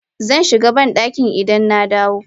Zan shiga bandaki idan na dawo.